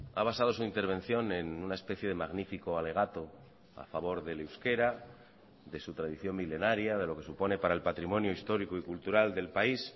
ha basado su intervención en una especie de magnífico alegato a favor del euskera de su tradición milenaria de lo que supone para el patrimonio histórico y cultural del país